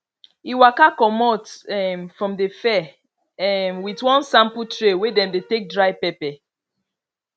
e waka comot um from the fair um with one sample tray wey dem dey take dry pepper